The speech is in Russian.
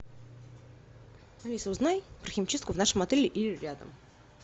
алиса узнай про химчистку в нашем отеле или рядом